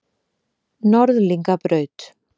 Norðlingabraut